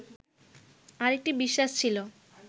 আরেকটি বিশ্বাস ছিল